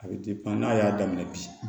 A bɛ n'a y'a daminɛ bi